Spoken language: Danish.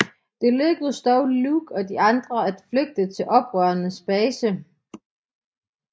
Det lykkedes dog Luke og de andre at flygte til oprørernes base